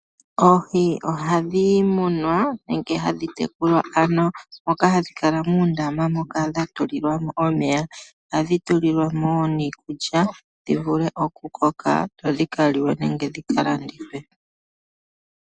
Oohi ohadhi munwa nenge hadhi tekulwa , ano moka hadhi kala muundama moka dha tulilwa mo omeya. Ohadhi tulilwa mo wo niikulya, dhivule okukoka dhi kaliwe nenge dhika landithwe.